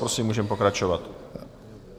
Prosím, můžeme pokračovat.